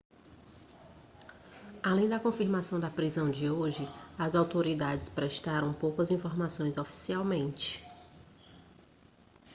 além da confirmação da prisão de hoje as autoridades prestaram poucas informações oficialmente